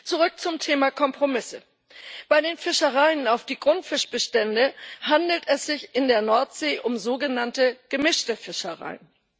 Zurück zum Thema Kompromisse Bei den Fischereien, die Grundfischbestände befischen, handelt es sich in der Nordsee um sogenannte gemischte Fischereien.